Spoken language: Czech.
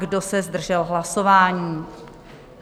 Kdo se zdržel hlasování?